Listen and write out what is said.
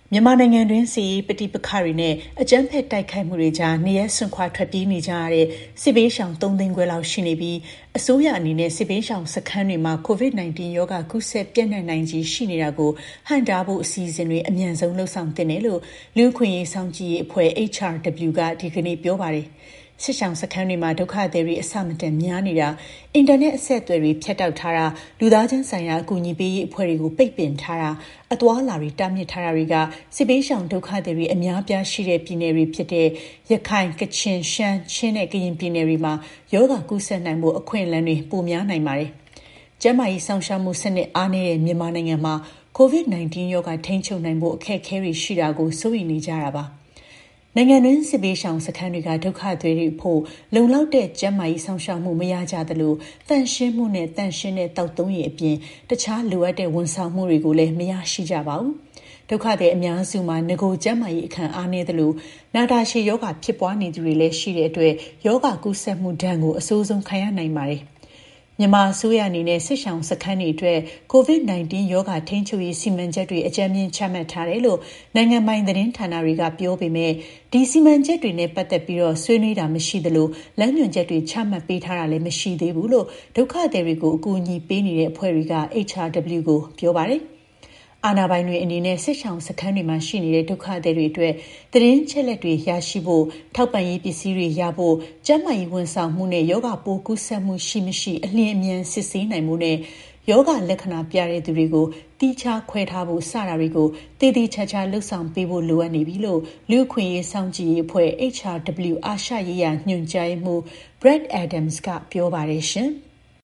မြန်မာနိုင်ငံတွင်း စစ်ရေး ပဋိပကတွေ နဲ့ အကြမ်းဖက်တိုက်ခိုက်မှုတွေကြား နေရပ်စွန့်ခွါထွက်ပြေးနေကြရတဲ့ စစ်ဘေးရှောင် ၃၅၀,၀၀၀ လောက်ရှိနေပြီး အစိုးရအနေနဲ့ စစ်ဘေးရှောင်စခန်းတွေမှာ COVID-19 ရောဂါ ကူးစက် ပျံ့နှံ့နိုင်ခြေရှိတာကို ဟန့်တားဖို့ အစီအစဉ်တွေ အမြန်ဆုံးလုပ်ဆောင်သင့်တယ်လို့ လူ့အခွင့်အရေးစောင့်ကြည့်ရေး အဖွဲ့ HRW က ဒီကနေ့ ပြောပါတယ်။ စစ်ရှောင်စခန်းတွေမှာ ဒုက္ခသည်တွေ အဆမတန်များနေတာ၊ အင်တာနက် အဆက်အသွယ်တွေ ဖြတ်တောက်ထားတာ၊ လူသားချင်းဆိုင်ရာ အကူအညီပေးရေး အဖွဲ့တွေကို ပိတ်ပင်ထားတာ၊ အသွားအလာတွေတားမြစ်ထားတာတွေက စစ်ဘေးရှောင် ဒုက္ခသည်တွေ အများအပြားရှိတဲ့ ပြည်နယ်တွေဖြစ်တဲ့ ရခိုင်၊ ကချင်၊ရှမ်း၊ ချင်းနဲ့ ကရင် ပြည်နယ်တွေမှာ ရောဂါကူးစက်နိုင်ဖို့ အခွင့်အလမ်းပိုများ နိုင်ပါတယ်။ ကျန်းမာရေး စောင့်ရှောက်မှု စနစ်အားနည်းတဲ့ မြန်မာနိုင်ငံမှာ COVID-19 ရောဂါ ထိန်းချုပ်နိုင်ဖို့ အခက်အခဲတွေရှိတာကို စိုးရိမ်နေကြတာပါ။ နိုင်ငံတွင်း စစ်ဘေးရှောင်စခန်းတွေက ဒုကသည်တွေအဖို့ လုံလောက်တဲ့ ကျန်းမာရေးစောင့်ရှောက်မှု မရရှိကြသလို၊ သန့်ရှင်းမှုနဲ့ သန့်ရှင်းတဲ့ သောက်သုံးရေ အပြင်တခြား လိုအပ်တဲ့ ဝန်ဆောင်မှုတွေကိုလည်း မရရှိကြပါဘူး။ ဒုက္ခသည် အများစုမှာ နဂိုကျန်းမာရေး အခံအားနည်းသလို နာတာရှည်ရောဂါဖြစ်ပွါးနေသူတွေလည်း ရှိတဲ့အတွက် ရောဂါကူးစက်မှုဒဏ်ကို အဆိုးဆုံးခံရနိုင်ပါတယ်။ မြန်မာအစိုးရအနေနဲ့ စစ်ရှောင်စခန်းတွေအတွက် COVID-19 ရောဂါထိန်းချုပ်ရေး စီမံချက်တွေ အကြမ်းမျဉ်း ချမှတ်ထားတယ်လို့ နိုင်ငံပိုင်သတင်းဌာနတွေက ပြောပေမဲ့ ဒီ စီမံချက်တွေနဲ့ ပတ်သက်ပြီး ဆွေးနွေးတာ မရှိသလို လမ်းညွှန်ချက်တွေ ချမှတ်ပေးတာလည်း မရှိသေးဘူးလို့ ဒုက္ခသည်တွေကို အကူအညီပေးနေတဲ့အဖွဲ့တွေက HRW ကို ပြောပါတယ်။ အာဏာပိုင်တွေအနေနဲ့ စစ်ရှောင်စခန်းတွေမှာ ရှိနေကြတဲ့ ဒုက္ခသည်တွေအတွက် သတင်းအချက်အလက်တွေ ရရှိဖို့၊ ထောက်ပံ့ရေး ပစည်းတွေရဖို့၊ ကျန်းမာရေး ဝန်ဆောင်မှုနဲ့ ရောဂါပိုးကူးစက်မှုရှိ၊ မရှိ အလျင်အမြန်စစ်ဆေးနိုင်ဖို့နဲ့ ရောဂါလက္ခဏာပြတဲ့ သူတွေကို သီးခြားခွဲထားဖို့ စတာတွေကို သေသေချာချာ လုပ်ဆောင်ပေးဖို့လိုအပ်နေပြီလို့ လူ့အခွင့်အရေးစောင့်ကြည့်ရေး အဖွဲ့ HRW အာရှရေးရာ ညွှန်ကြားရေးမှူး Brad Adams က ပြောပါတယ်ရှင်။